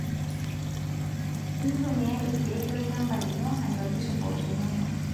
Ntumiya irkek lolchaba lino atobir imposhoo inono